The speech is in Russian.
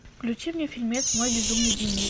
включи мне фильмец мой безумный дневник